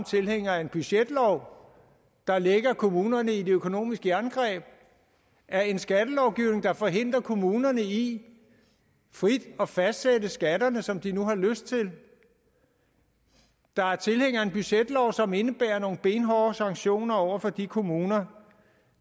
tilhængere af en budgetlov der lægger kommunerne i et økonomisk jerngreb af en skattelovgivning der forhindrer kommunerne i frit at fastsætte skatterne som de nu har lyst til der er tilhængere af en budgetlov som indebærer nogle benhårde sanktioner over for de kommuner